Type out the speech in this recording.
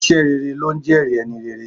Iṣẹ́ rere ló ńjẹ́ẹ̀rí ẹni rere.